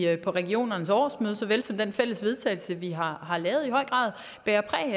regioners årsmøde såvel som den fælles vedtagelse vi har har lavet i høj grad bærer præg